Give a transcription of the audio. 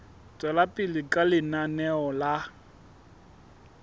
tswela pele ka lenaneo la